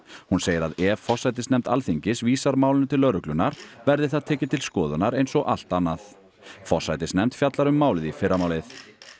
hún segir að ef forsætisnefnd Alþingis vísar málinu til lögreglunnar verði það tekið til skoðunar eins og allt annað forsætisnefnd fjallar um málið í fyrramálið